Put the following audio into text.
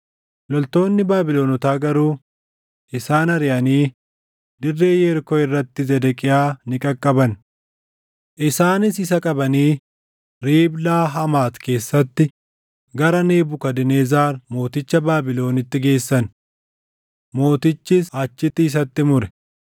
Loltoonni Baabilonotaa garuu isaan ariʼanii dirree Yerikoo irratti Zedeqiyaa in qaqqaban. Isaanis isa qabanii Riiblaa Hamaati keessatti gara Nebukadnezar mooticha Baabilonitti geessan; mootichis achitti isatti mure.